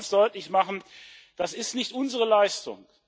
Ich will auch ganz deutlich machen Das ist nicht unsere Leistung.